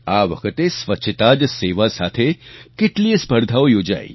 આ વખતે સ્વચ્છતા જ સેવા સાથે કેટલીયે સ્પર્ધાઓ યોજાઈ